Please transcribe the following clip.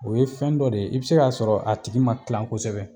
O ye fɛn dɔ de ye i bɛ se k'a sɔrɔ a tigi ma tila kosɛbɛ